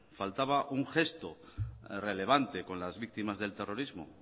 faltaba un gesto relevante con las víctimas del terrorismo